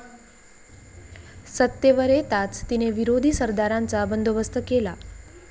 सत्तेवर येताच तिने विरोधी सरदारांचा बंदोबस्त केला.